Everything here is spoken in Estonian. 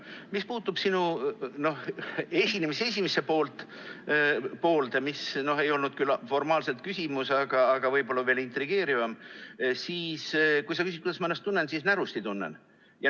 Mis puutub sinu esinemise esimesse poolde, mis ei olnud küll formaalselt küsimus, aga võib-olla veel intrigeerivam, siis kui sa küsid, kuidas ma ennast tunnen, ütlen, et närusti tunnen.